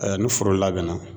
ni foro labɛnna